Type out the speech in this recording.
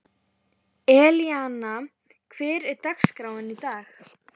Elíanna, hver er dagsetningin í dag?